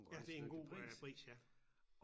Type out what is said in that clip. Ja til en god pris ja